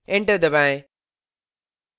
enter दबाएं